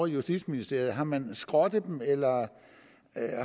justitsministeriet har man skrottet dem eller